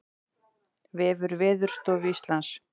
Vefur Veðurstofu Íslands